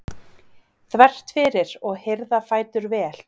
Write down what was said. þvert fyrir og hirða fætur vel.